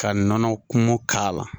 Ka nɔnɔ kumu k'a la